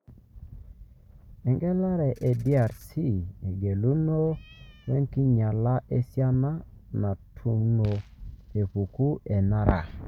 Engelare e DRC:Engolongu wenkinyala esiana natuno epeku enara.